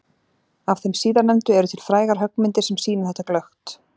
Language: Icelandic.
Af þeim síðarnefndu eru til frægar höggmyndir sem sýna þetta glöggt.